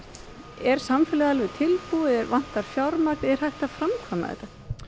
er samfélagið alveg tilbúið vantar fjármagn er hægt að framkvæma þetta